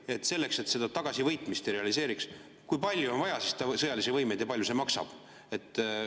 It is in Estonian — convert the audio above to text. Kui palju on selleks, et seda tagasivõitmise ei realiseeritaks, vaja sõjalisi võimeid ja kui palju see maksab?